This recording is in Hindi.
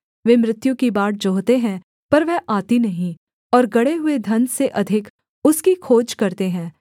वे मृत्यु की बाट जोहते हैं पर वह आती नहीं और गड़े हुए धन से अधिक उसकी खोज करते हैं